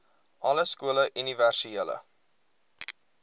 alle skole universele